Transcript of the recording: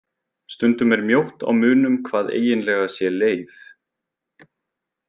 Stundum er mjótt á munum hvað eiginlega sé leif.